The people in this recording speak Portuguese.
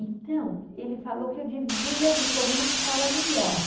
Então, ele falou que eu devia de pôr numa escola melhor.